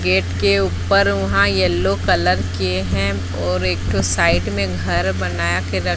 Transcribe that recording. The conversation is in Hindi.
गेट के ऊपर वहां येलो कलर किए हैं और एक ठो साइड में घर बना के र--